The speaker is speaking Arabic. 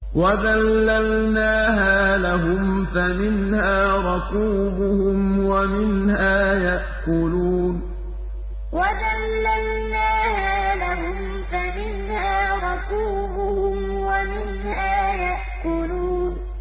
وَذَلَّلْنَاهَا لَهُمْ فَمِنْهَا رَكُوبُهُمْ وَمِنْهَا يَأْكُلُونَ وَذَلَّلْنَاهَا لَهُمْ فَمِنْهَا رَكُوبُهُمْ وَمِنْهَا يَأْكُلُونَ